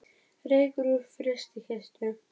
Reykur úr frystikistu